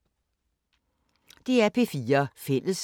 DR P4 Fælles